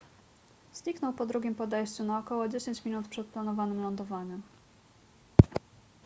zniknął po drugim podejściu na około dziesięć minut przed planowanym lądowaniem